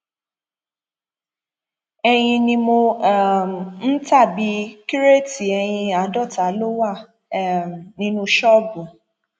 ẹyìn ni mò um ń ta bíi kíróètì ẹyìn àádọta ló wà um nínú ṣọọbù